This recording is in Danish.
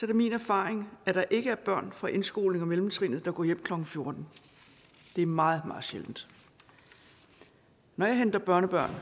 det min erfaring at der ikke er børn fra indskolingen og mellemtrinet der går hjem klokken fjorten det er meget meget sjældent når jeg henter børnebørn